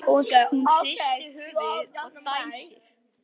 Hún hristir höfuðið og dæsir.